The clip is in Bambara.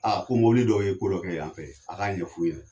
ko mobili dɔw ye ko dɔ kɛ yan fɛ, a k'a ɲɛf'u ɲɛna.